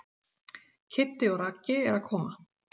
Kiddi og Raggi eru að koma.